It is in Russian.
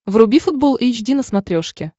вруби футбол эйч ди на смотрешке